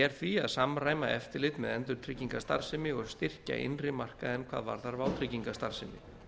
er því að samræma eftirlit með endurtryggingastarfsemi og styrkja innri markaðinn hvað varðar vátryggingastarfsemi